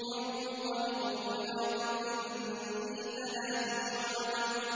انطَلِقُوا إِلَىٰ ظِلٍّ ذِي ثَلَاثِ شُعَبٍ